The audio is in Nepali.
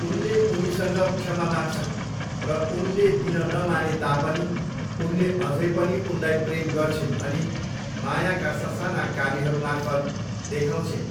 उनले उनीसँग क्षमा माग्छन्, र उनले दिन नमाने तापनि, उनले अझै पनि उनलाई प्रेम गर्छिन् भनी मायाका ससाना कार्यहरूमार्फत् देखाउँछिन्।